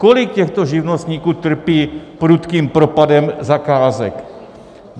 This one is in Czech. Kolik těchto živnostníků trpí prudkým propadem zakázek?